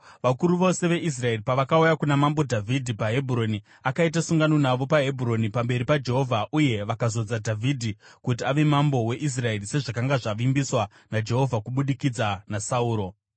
Vakuru vose veIsraeri pavakauya kuna mambo Dhavhidhi paHebhuroni, akaita sungano navo paHebhuroni pamberi paJehovha, uye vakazodza Dhavhidhi kuti ave mambo weIsraeri sezvakanga zvavimbiswa naJehovha kubudikidza naSamueri.